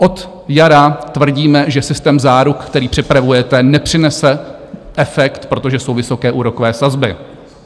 Od jara tvrdíme, že systém záruk, který připravujete, nepřinese efekt, protože jsou vysoké úrokové sazby.